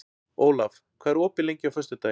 Olav, hvað er opið lengi á föstudaginn?